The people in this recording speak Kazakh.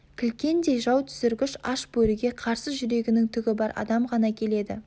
кілкендей жау түсіргіш аш бөріге қарсы жүрегінің түгі бар адам ғана келеді